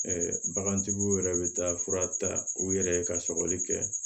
bagantigiw yɛrɛ bɛ taa fura ta u yɛrɛ ye ka sɔgɔli kɛ